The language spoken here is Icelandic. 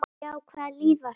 Já, hvaða líf var þetta?